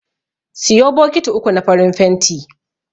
Siyo bokiti uku na farin fenti.